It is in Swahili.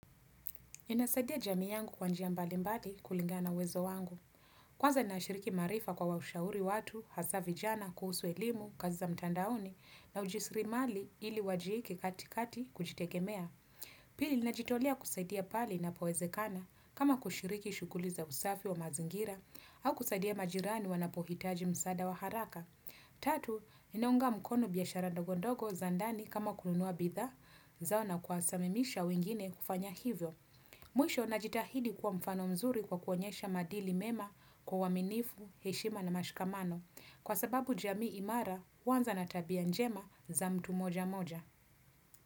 Ninasadia jamii yangu kwa njia mbalimbali kulingana na uwezo wangu. Kwanza nashiriki maarifa kwa kuwa shauri watu, hasa vijana, kuhusu elimu, kazi za mtandaoni, na ujisiri mali ili wajieke katikati kujitegemea. Pili, najitolea kusaidia pale inapowezekana, kama kushiriki shughuli za usafi wa mazingira, au kusadia majirani wanapohitaji msaada wa haraka. Tatu, ninaunga mkono biashara ndogondogo za ndani kama kununua bidhaa zao na kuwasamamisha wengine kufanya hivyo. Mwisho najitahidi kuwa mfano mzuri kwa kuonyesha maadili mema kwa uaminifu, heshima na mashikamano, kwa sababu jamii imara huanza tabia njema za mtu mmoja mmoja.